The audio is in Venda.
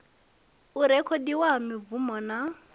u rekhodiwa ha mibvumo na